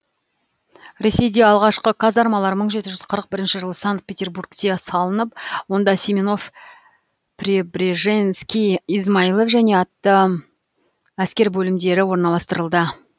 ресейде алғашқы казармалар мың жеті жүз қырық бірінші жылы санкт петербургте салынып онда семенов пребреженский измайлов және атты әскер бөлімдері орналастырылды